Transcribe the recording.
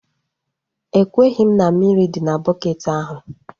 Ekweghị m na mmiri dị n'ime bukeeti ahu